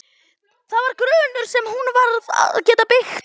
Það var grunnur sem hún varð að geta byggt á.